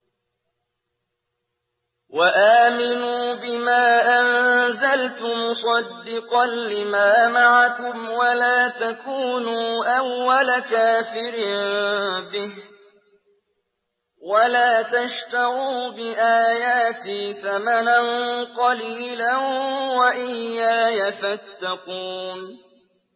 وَآمِنُوا بِمَا أَنزَلْتُ مُصَدِّقًا لِّمَا مَعَكُمْ وَلَا تَكُونُوا أَوَّلَ كَافِرٍ بِهِ ۖ وَلَا تَشْتَرُوا بِآيَاتِي ثَمَنًا قَلِيلًا وَإِيَّايَ فَاتَّقُونِ